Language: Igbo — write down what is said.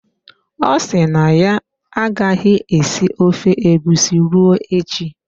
Ọ si na ya agaghị esi ofe egusi ruo echi.